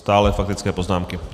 Stále faktické poznámky.